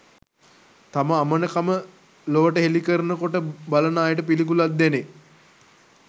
තම අමනකම ලොවට හෙළි කරන කොට බලන අයට පිළිකුලක් දැනේ